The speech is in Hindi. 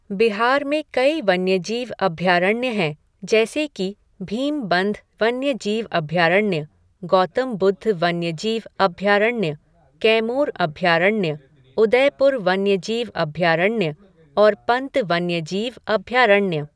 बिहार में कई वन्यजीव अभयारण्य हैं जैसे कि भीमबंध वन्यजीव अभयारण्य, गौतम बुद्ध वन्यजीव अभयारण्य, कैमूर अभयारण्य, उदयपुर वन्यजीव अभयारण्य और पंत वन्यजीव अभयारण्य।